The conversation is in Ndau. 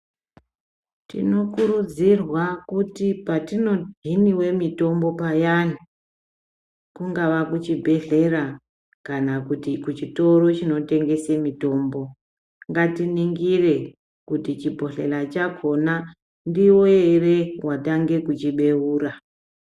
Tinokurudzirwa kuti patinohiniwe mutombo payani, kungaa kuchibhedhlera kana kuti kuchitoro chinotengesa mutombo. Ngatiningire kuti chibhodhlera chakona ndiwe ere watange kuchibeura.